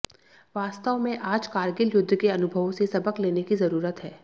वास्तव में आज कारगिल युद्ध के अनुभवों से सबक लेने की ज़रूरत है